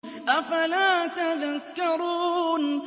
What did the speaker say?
أَفَلَا تَذَكَّرُونَ